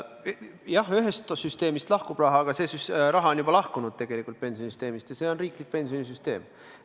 Jah, ühest süsteemist lahkub raha, aga see raha on juba tegelikult pensionisüsteemist lahkunud, ja see on riiklik pensionisüsteem.